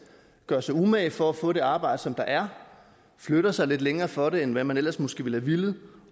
gør sig umage for at få det arbejde som der er flytter sig lidt længere for det end hvad man ellers måske havde villet